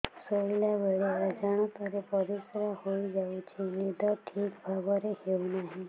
ଶୋଇଲା ବେଳେ ଅଜାଣତରେ ପରିସ୍ରା ହୋଇଯାଉଛି ନିଦ ଠିକ ଭାବରେ ହେଉ ନାହିଁ